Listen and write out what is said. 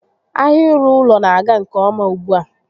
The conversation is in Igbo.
Ahia ịrụ ụlọ n'aga nke ọma ugbu a